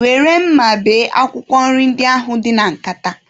Were mma bee akwụkwọ nri ndị ahụ dị na nkata